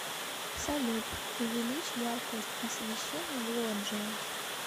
салют увеличь яркость освещения в лоджии